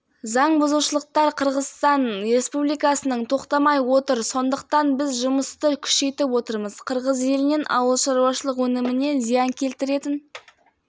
қарағанды қаласында орталық сайлау комиссиясы онлайн тәртібінде конференция өткізді жиын барысында шығып қалғандардың орнына мәслихат депутаттары